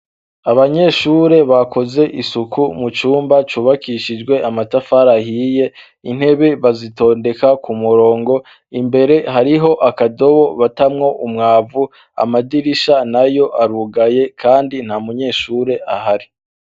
Abanyeshure bakoze isuku mu cumba cubakishijwe amatafari ahiye intebe bazitondeka ku murongo imbere hariho akadobo batamwo umwavu amadirisha na yo arugaye, kandi nta munyeshure ahari.